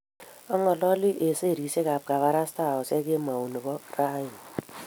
ang'ololi ak serisiekab kabarastaosiek kemou nebo rauni